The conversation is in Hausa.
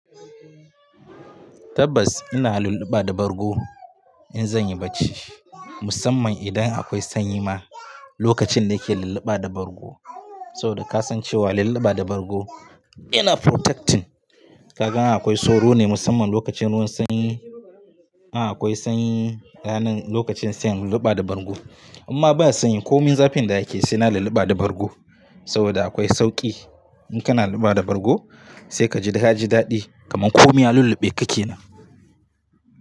Tabbas ina lulluba da bargo in zan yi barci musamman idan akwai sanyi ma lokacin da yake lulluba da bargo saboda ka san cewa lulluba da bargo yana protecting. Kaga ana akwai soro ne musamman lokacin ruwan sanyi. A'a akwai sanyi rananlokacin sanyi lulluba da bargo amma ba sanyi ko min zafin da yake sai na lulluba da bargo saboda akwai sauƙi. In kana lulluba da bargo sai ka ji ka ji daɗi kamar ko miya lulluɓe ka ke nan.